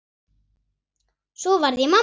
Svo varð ég mamma.